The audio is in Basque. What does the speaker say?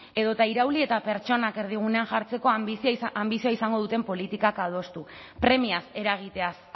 edota irauli eta pertsonak erdigunean jartzeko anbizioa izango duten politikak adostu premiaz eragiteaz